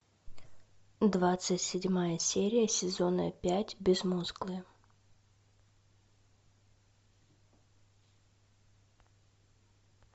двадцать седьмая серия сезона пять безмоглые